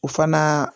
O fana